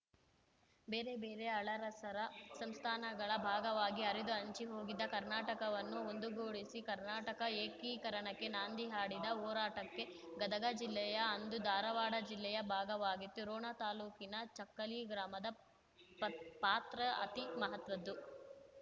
ಬೇರೆ ಬೇರೆ ಆಳರಸರ ಸಂಸ್ಥಾನಗಳ ಭಾಗವಾಗಿ ಹರಿದು ಹಂಚಿ ಹೋಗಿದ್ದ ಕರ್ನಾಟಕವನ್ನು ಒಂದುಗೂಡಿಸಿ ಕರ್ನಾಟಕ ಏಕೀಕರಣಕ್ಕೆ ನಾಂದಿ ಹಾಡಿದ ಹೋರಾಟಕ್ಕೆ ಗದಗ ಜಿಲ್ಲೆಯಅಂದು ಧಾರವಾಡ ಜಿಲ್ಲೆಯ ಭಾಗವಾಗಿತ್ತು ರೋಣ ತಾಲೂಕಿನ ಜಕ್ಕಲಿ ಗ್ರಾಮದ ಪತ್ ಪಾತ್ರ ಅತಿ ಮಹತ್ವದ್ದು